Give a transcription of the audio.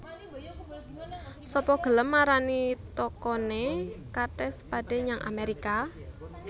Sapa gelem marani tokone Kate Spade nyang Amerika?